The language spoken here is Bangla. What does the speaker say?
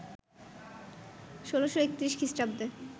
১৬৩১ খ্রিস্টাব্দে